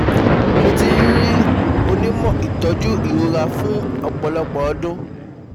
Mo ti n rí onímọ̀ ìtọ́jú ìrora fún ọpọlọpọ ọdún